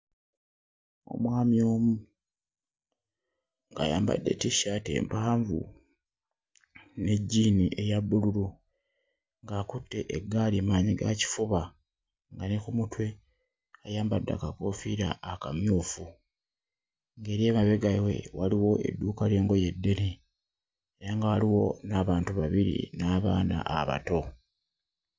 Omwami omu ng'ayambadde tissaati empanvu ne jjiini eya bbululu ng'akutte eggaali maanyigakifuba nga ne ku mutwe ayambadde akakoofiira akamyufu, ng'eri emabega we waliwo edduuka ly'engoye eddene era nga waliwo n'abantu babiri n'abaana abato.